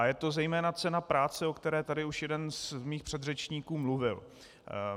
A je to zejména cena práce, o které tady už jeden z mých předřečníků mluvil.